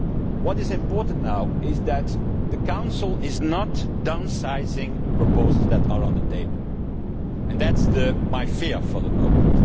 What is important now is that the Council does not downsize the proposals that are on the table. That is my fear for the moment.